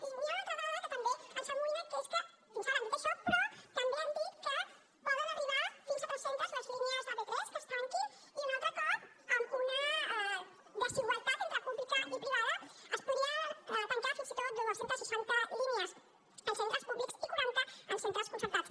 i hi ha una altra dada que també ens amoïna i és que fins ara han dit això però també han dit que poden arribar fins a tres centes les línies de p3 que es tanquin i un altre cop amb una desigualtat entre pública i privada es podrien tancar fins i tot dos cents i seixanta línies en centres públics i quaranta en centres concertats